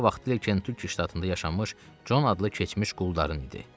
Ferma vaxtilə Kentukki ştatında yaşamış Con adlı keçmiş quldarın idi.